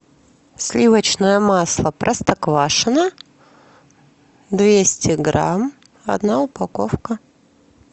сливочное масло простоквашино двести грамм одна упаковка